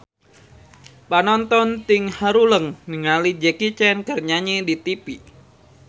Panonton ting haruleng ningali Jackie Chan keur nyanyi di tipi